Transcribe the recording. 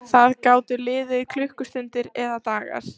Það gátu liðið klukkustundir eða dagar.